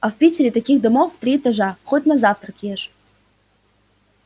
а в питере таких домов в три этажа хоть на завтрак ешь